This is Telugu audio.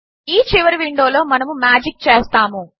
ఈ చివరి విండో లో మనము మాజిక్ చేస్తాము